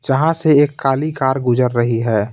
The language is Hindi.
जहां से एक काली कार गुजर रही है.